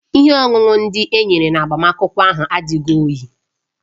Ihe ọṅụṅụ ndị e nyere na agbamakwụkwọ ahụ adịghị oyi